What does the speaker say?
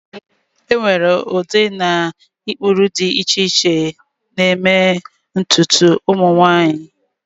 enwere ụdị na ụkpụrụ dị iche iche na-eme ntutu ụmụ nwanyị